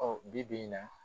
bi bi in na.